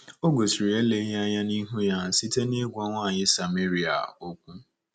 O gosiri eleghị anya n’ihu ya site n’ịgwa nwanyị Sameria okwu.